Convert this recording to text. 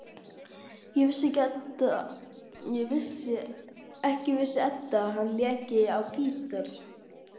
Ekki vissi Edda að hann léki á gítar.